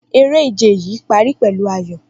Eré ìje yìí pari pẹ̀lú ayọ̀